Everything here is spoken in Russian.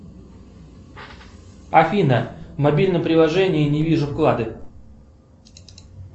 афина в мобильном приложении не вижу вклады